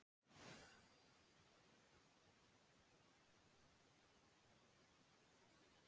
Vísindamenn hafa sett fram tilgátur byggðar á þeim fornleifum og þeim heimildum sem til eru.